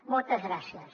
moltes gràcies